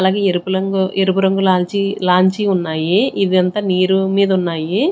అలాగే ఎరుపు లాంగు ఎరుపు రంగు లాంచీ లాంచీ ఉన్నాయి ఇదంతా నీరు మీద ఉన్నాయి.